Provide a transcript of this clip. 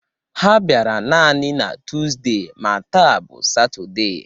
Ha bịara nani na Tuuzde ma taa bụ satọde